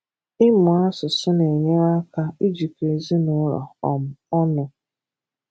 Ịmụ asụsụ na-enyere aka ijikọ ezinụlọ um ọnụ